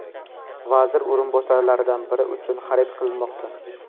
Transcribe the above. vazir o‘rinbosarlaridan biri uchun xarid qilinmoqda.